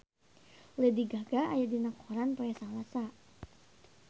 Lady Gaga aya dina koran poe Salasa